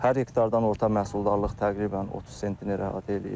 Hər hektardan orta məhsuldarlıq təqribən 30 sentnerə rahat eləyir.